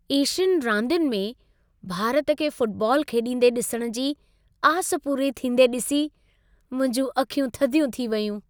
एशियनि रांदियुनि में भारत खे फुटबॉल खेॾींदे ॾिसण जी आस पूरी थींदे ॾिसी, मुंहिंजूं अखियूं थधियूं थी वयूं।